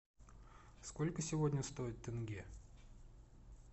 сколько сегодня стоит тенге